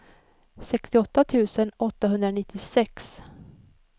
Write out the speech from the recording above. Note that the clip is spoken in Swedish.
sextioåtta tusen åttahundranittiosex